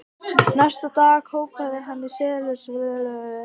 Næsta dag skrópaði hann í setuliðsvinnunni og hóf að svipast um eftir nýju starfi.